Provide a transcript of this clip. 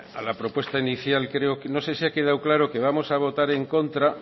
a la propuesta inicial creo no sé se ha quedado claro que vamos a votar en contra